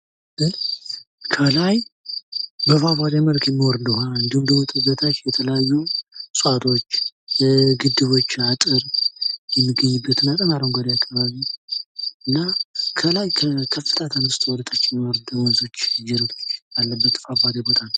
ከላይ በፏፏቴ መልክ የሚወርድ ውሀ እንዲሁም ከታች የተለያዩ እፅዋቶች ፣ግድቦች ፣ አጥር የሚገኙበት በጣም አረጓዴ አካባቢ እና ከላይ ከከፍታ ተነስቶ ወደታች የሚወርዱ ወንዞች ጅረቶች ያለበት ፏፏቴ ቦታ ነው።